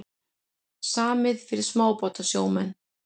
Samið fyrir smábátasjómenn